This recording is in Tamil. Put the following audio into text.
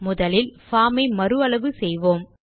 முதலில் பார்ம் ஐ மறு அளவு செய்வோம்